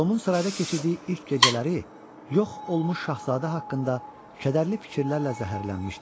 Tomun sarayda keçirdiyi ilk gecələri yox olmuş şahzadə haqqında kədərli fikirlərlə zəhərlənmişdi.